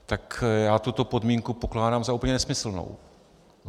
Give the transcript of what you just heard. Tak já tuto podmínku pokládám za úplně nesmyslnou.